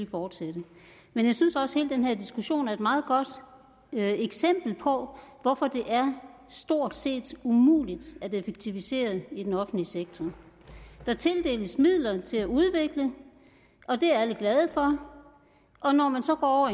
fortsætte men jeg synes også at hele den her diskussion er et meget godt eksempel på hvorfor det stort set umuligt at effektivisere i den offentlige sektor der tildeles midler til at udvikle og det er alle glade for og når man så går